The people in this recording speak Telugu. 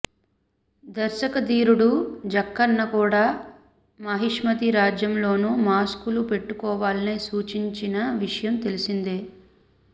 దర్శక ధీరుడు జక్కన్న కూడా మాహిష్మతి రాజ్యంలోనూ మాస్కులు పెట్టుకోవాలని సూచించిన విషయం తెలిసిందే